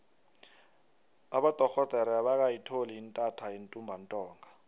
abodorhodere abakayitholi intatha yentumbantonga